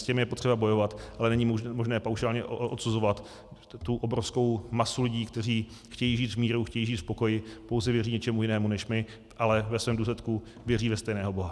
S těmi je potřeba bojovat, ale není možné paušálně odsuzovat tu obrovskou masu lidí, kteří chtějí žít v míru, chtějí žít v pokoji, pouze věří něčemu jinému než my, ale ve svém důsledku věří ve stejného Boha.